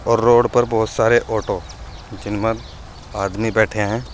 और रोड पर बहुत सारे ऑटो जिनमें आदमी बैठे हैं।